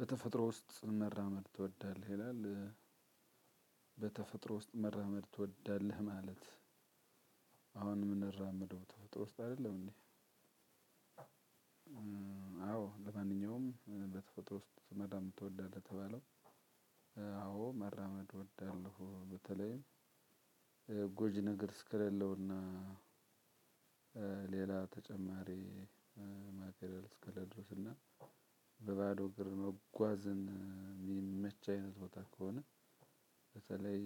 በተፈጥሮ ውስጥ መራመድ ትወዳለህ ይላል? በተፈጥሮ ውስጥ መራመድ ትወዳለህ ማለት? አሁን የምንራመደው ተፈጥሮ ውስጥ አይደለም እንዴ? አዎ ለማንኛውም በተፈጥሮ ውስጥ መራመድ ትወዳለህ ለተባለው። አዎ መራመድ እወዳለው በተለይ ጎጂ ነገር እስከሌለው እና። እና በባዶ እግር መጓዝን ሚመች አይነት ቦታ ከሆነ። በተለይ